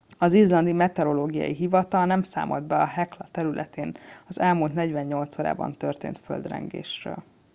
az izlandi meteorológiai hivatal nem számolt be a hekla területén az elmúlt 48 órában történt földrengésről